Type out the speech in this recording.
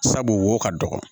Sabu wo ka dɔgɔ